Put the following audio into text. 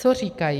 Co říkají?